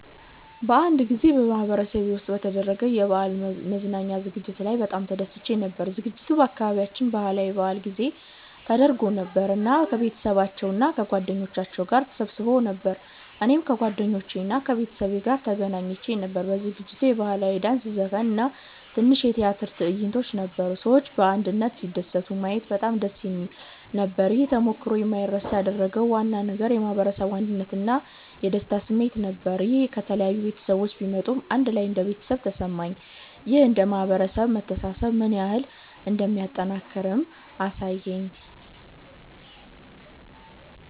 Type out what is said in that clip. አንድ ጊዜ በማህበረሰቤ ውስጥ በተደረገ የበዓል መዝናኛ ዝግጅት ላይ በጣም ተደስቼ ነበር። ዝግጅቱ በአካባቢያችን ባህላዊ በዓል ጊዜ ተደርጎ ነበር እና ሰዎች ከቤተሰባቸው እና ከጓደኞቻቸው ጋር ተሰብስበው ነበር። እኔም ከጓደኞቼ እና ከቤተሰቤ ጋር ተገኝቼ ነበር። በዝግጅቱ የባህላዊ ዳንስ፣ ዘፈን እና ትንሽ የቲያትር ትዕይንቶች ነበሩ። ሰዎች በአንድነት ሲደሰቱ ማየት በጣም ደስ የሚል ነበር። ይህን ተሞክሮ የማይረሳ ያደረገው ዋና ነገር የማህበረሰቡ አንድነት እና የደስታ ስሜት ነበር። ሰዎች ከተለያዩ ቤተሰቦች ቢመጡም አንድ ላይ እንደ ቤተሰብ ተሰማኝ። ይህ እንደ ማህበረሰብ መተሳሰብ ምን ያህል እንደሚጠናከር አሳየኝ።